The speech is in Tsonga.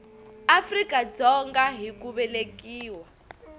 afrika dzonga hi ku velekiwa